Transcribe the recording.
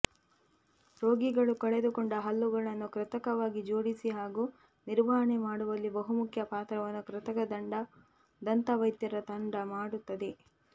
ರೋಗಿಗಳು ಕಳೆದುಕೊಂಡ ಹಲ್ಲುಗಳನ್ನು ಕೃತಕವಾಗಿ ಜೋಡಿಸಿ ಹಾಗೂ ನಿರ್ವಹಣೆ ಮಾಡುವಲ್ಲಿ ಬಹುಮುಖ್ಯ ಪಾತ್ರವನ್ನು ಕೃತಕ ದಂತ ವೈದ್ಯರ ತಂಡ ಮಾಡುತ್ತದೆ